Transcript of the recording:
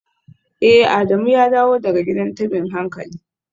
Eh Adamu ya dawo daga gidan tabin hankali